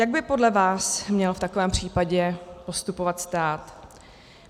Jak by podle vás měl v takovém případě postupovat stát?